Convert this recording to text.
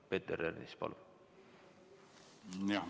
Peeter Ernits, palun!